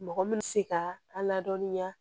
Mɔgɔ min bɛ se ka a ladɔnniya